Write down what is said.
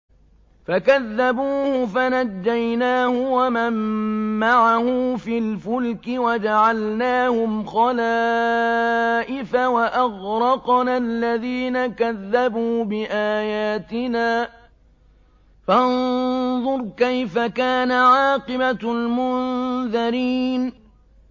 فَكَذَّبُوهُ فَنَجَّيْنَاهُ وَمَن مَّعَهُ فِي الْفُلْكِ وَجَعَلْنَاهُمْ خَلَائِفَ وَأَغْرَقْنَا الَّذِينَ كَذَّبُوا بِآيَاتِنَا ۖ فَانظُرْ كَيْفَ كَانَ عَاقِبَةُ الْمُنذَرِينَ